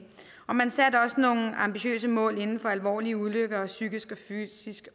man satte også nogle ambitiøse mål til alvorlige ulykker og psykiske